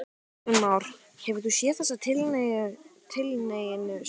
Kristján Már: Hefur þú séð þessa tilhneigingu sjálfur?